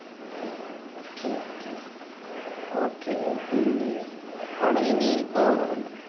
ആഹ് okay okay okay പിന്നെ അവിടെ ഇനി ഇപ്പൊ